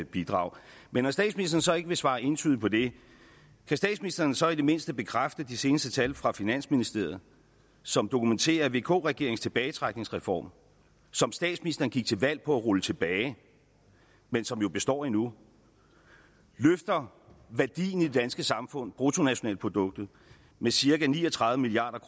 bidrag men når statsministeren ikke vil svare entydigt på det kan statsministeren så i det mindste bekræfte de seneste tal fra finansministeriet som dokumenterer at vk regeringens tilbagetrækningsreform som statsministeren gik til valg på at rulle tilbage men som jo består endnu løfter værdien i det danske samfund bruttonationalproduktet med cirka ni og tredive milliard